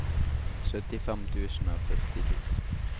syttifem tusen og førtito